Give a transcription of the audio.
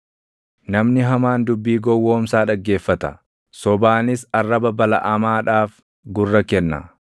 Namni hamaan dubbii gowwoomsaa dhaggeeffata; sobaanis arraba balaʼamaadhaaf gurra kenna.